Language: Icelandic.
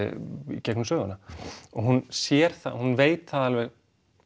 í gegnum söguna og hún sér það hún veit það alveg